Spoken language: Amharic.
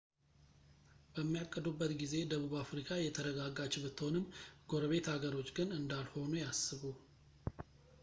በሚያቅዱበት ጊዜ ደቡብ አፍሪካ የተረጋጋች ብትሆንም ጎረቤት ሀገሮች ግን እንዳልሆኑ ያስቡ